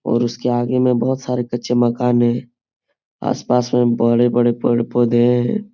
और उसके आगे में बहुत सारे कच्चे मकान हैं। आसपास में बड़े-बड़े पेड़-पोधे हैं।